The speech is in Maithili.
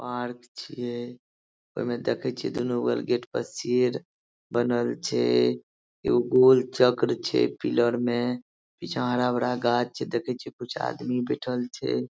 पार्क छीये ओय मे देखे छीये दुनु बगल गेट पर शेर बनल छै एगो गोल चक्र छै पीलर मे पीछा हरा-भरा गाछ छै देखय छीये कुछ आदमी बैठएल छै।